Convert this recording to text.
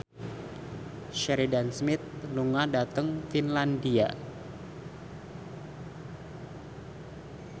Sheridan Smith lunga dhateng Finlandia